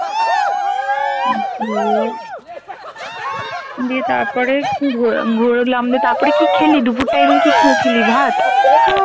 জি তারপরে ঘুরলাম তারপরে কি খেলি দুপুর time এ কি খেয়েছিলি? ভাত?